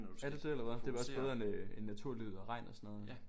Er det det eller hvad det er nok bedre end øh end naturlyd eller regn og sådan noget